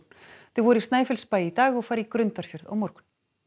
þau voru í Snæfellsbæ í dag og fara í Grundarfjörð á morgun